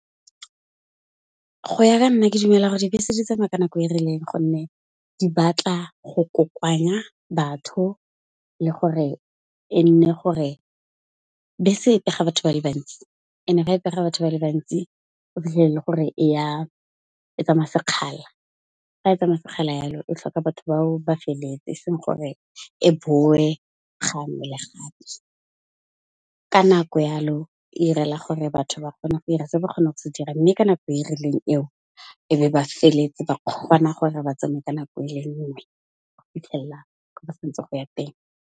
Go ya ka nna ke dumela gore dibese di tsamaya ka nako e rileng gonne di batla go kopanya batho le gore e nne gore, bese e pega batho ba le bantsi ene ga e pega batho ba le bantsi, o fitlhelele gore e tsamaya sekgala fa e tsamaya segala jalo e tlhoka batho ba ba feletse e seng gore e boe gangwe le gape. Ka nako jalo e 'irela gore batho ba kgone go 'ira se ba kgonang go se dira mme ka nako e rileng eo, e be ba feletse ba kgona gore ba tsamaye ka nako e le nngwe go fitlhella ko ba sa ntse go ya teng.